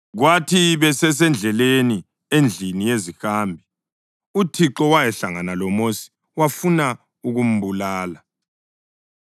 Kwathi besesendleleni, endlini yezihambi, uThixo wahlangana loMosi wafuna ukumbulala.